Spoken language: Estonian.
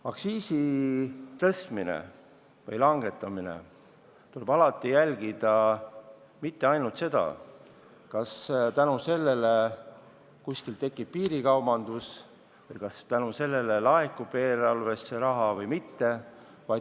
Aktsiisi tõstmisel või langetamisel tuleb alati jälgida mitte ainult seda, kas selle mõjul kuskil tekib piirikaubandus või kas selle mõjul laekub eelarvesse raha rohkem või mitte.